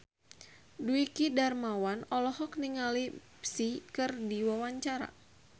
Dwiki Darmawan olohok ningali Psy keur diwawancara